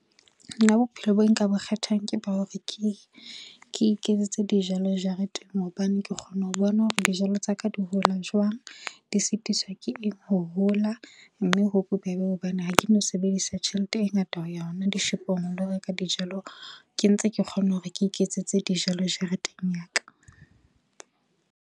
Nna bophelo bo nka bo kgethang ke ba hore ke iketsetse dijalo jareteng hobane ke kgona ho bona hore dijalo tsa ka di hola jwang, di sitisoa ke eng ho hola. Mme ho bobebe hobane ha ke no sebedisa tjhelete e ngata ho ya hona dishopong ho lo reka dijalo ke ntse ke kgona hore ke iketsetse dijalo jareteng ya ka.